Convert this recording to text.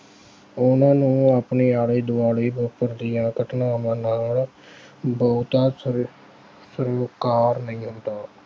ਉਹਨਾਂ ਨੂੰ ਆਪਣੇ ਆਲੇ-ਦੁਆਲੇ ਵਾਪਰਨ ਦੀਆਂ ਘਟਨਾਵਾਂ ਨਾਲ ਬਹੁਤਾ ਸਰੋ ਅਹ ਸਰੋਕਾਰ ਨਹੀਂ ਹੁੰਦਾ